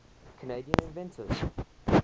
canadian inventors